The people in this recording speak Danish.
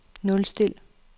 nulstil